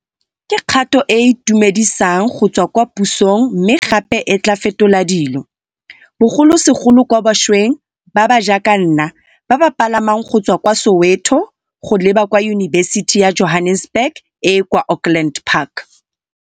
Ke kgato e e itumedisang go tswa kwa pusong mme gape e tla fetola dilo, bogolosegolo kwa bašweng ba ba jaaka nna ba ba palamang go tswa kwa Soweto go leba kwa Yunibesiti ya Johannesburg e e kwa Auckland Park